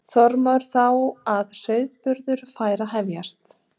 Þormóður þá að sauðburður væri að hefjast.